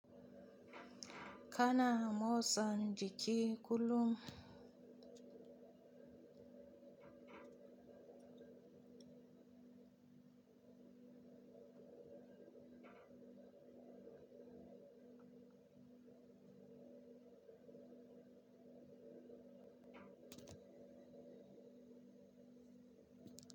Kana motsa jiki kullum.